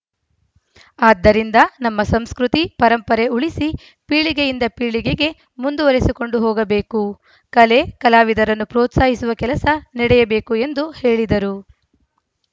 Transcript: ಆದ್ದರಿಂದ ನಮ್ಮ ಸಂಸ್ಕೃತಿ ಪರಂಪರೆ ಉಳಿಸಿ ಪೀಳಿಗೆಯಿಂದ ಪೀಳಿಗೆಗೆ ಮುಂದುವರೆಸಿಕೊಂಡು ಹೋಗಬೇಕು ಕಲೆ ಕಲಾವಿದರನ್ನು ಪ್ರೋತ್ಸಾಹಿಸುವ ಕೆಲಸ ನಡೆಯಬೇಕು ಎಂದು ಹೇಳಿದರು